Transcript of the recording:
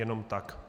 Jenom tak.